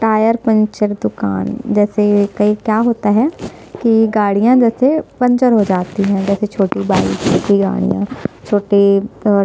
tyre puncture दुकान जैसे कई क्या होता है की गाड़िया जैसे पंचर हो जाती है जैसे छोटी बाइक छोटी गाड़िया छोटे अअअ--